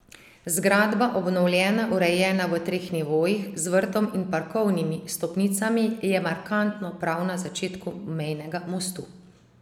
Zgradba, obnovljena, urejena, v treh nivojih, z vrtom in parkovnimi stopnicami, je markantno prav na začetku mejnega mostu.